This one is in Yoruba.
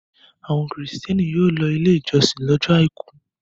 Àwọn Kìrìtẹ́ẹ́nì yóò lọ Ilé-ìjọsìn lọ́jọ́ àìkú.